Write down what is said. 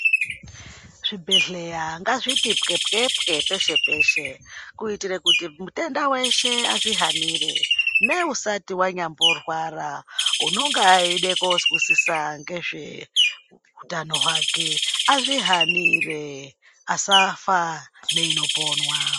Zvibhehleya ngazviti pwe-pwe-pwe peshe -peshe kuitire kuti mutenda weshe azvihanire ,neusati wanyamborwara unonga eide kozwisiza ngezve utano hwake azvihanire asafa neinoponwa.